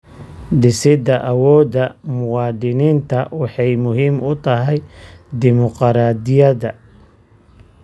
Dhisida awoodda muwaadiniinta waxay muhiim u tahay dimuqraadiyadda.